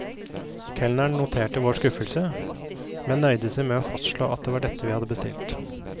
Kelneren noterte vår skuffelse, men nøyde seg med å fastslå at det var dette vi hadde bestilt.